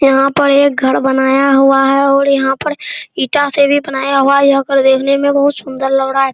यहाँ पर एक घर बनाया हुआ है और यहाँ पर ईटा से भी बनाया हुआ है यह घर देखने मे बहुत सुन्दर लग रहा है ।